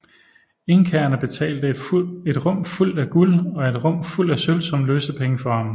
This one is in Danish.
Inkaerne betalte et rum fuldt af guld og et rum fuldt af sølv som løsepenge for ham